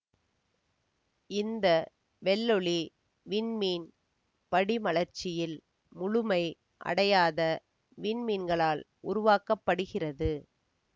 இந்த வெள்ளொளி விண்மீன் படிமலர்ச்சியில் முழுமை அடையாத விண்மீன்களால் உருவாக்க படுகிறது